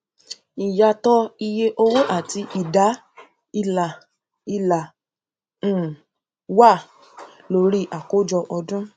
ìyàtọ iye owó àti ìdá ilà ilà um wà lórí àkójọ ọdún